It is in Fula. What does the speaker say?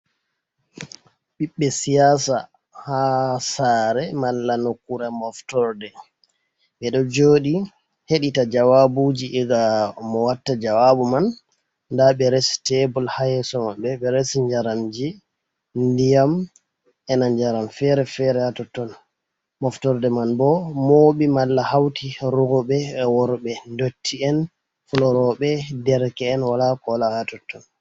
Ɓiɓɓe siyasa ha sare malla nokkure moftorde. Ɓeɗo joɗi heɗita jawabuji iga mo watta jawabu man nda ɓe resi tebul ha yeso maɓɓe, ɓe resi njaramji, ndiyam, ena njaram fere-fere ha totton. Moftorde man bo moɓi malla hauti roɓe, worbe, dotti'en, fuloroɓe, derke'en, wala ko wala ha totton.